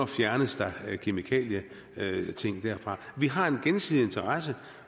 fjernes kemikalier derfra vi har en gensidig interesse